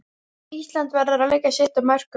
Ísland verður að leggja sitt af mörkum